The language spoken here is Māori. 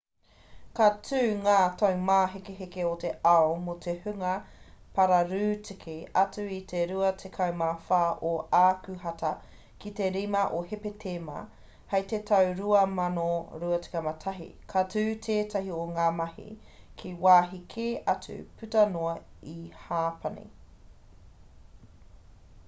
ka tū ngā taumāhekeheke o te ao mō te hunga pararūtiki atu i te 24 o ākuhata ki te 5 o hepetema hei te tau 2021 ka tū ētahi o ngā mahi ki wāhi kē atu puta noa i hapani